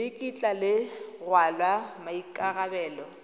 le kitla le rwala maikarabelo